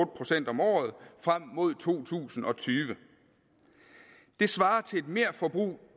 procent om året frem mod to tusind og tyve det svarer til et merforbrug